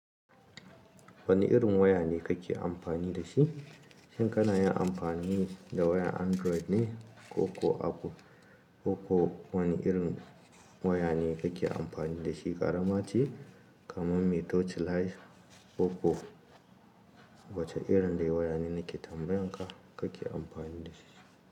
Wane irin waya ne kake amfani da shi? Shin kana yin amfani da wayan Android ne ko ko Apple? Wane irin waya ne kake amfani da shi? Ƙarama ce, kaman me touch light ko ko wacce irin dai waya ne nake tambayanka kake amfani da shi?